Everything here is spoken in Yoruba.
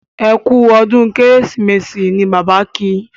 ẹkú ọdún kérésìmesì ní Bàbá kí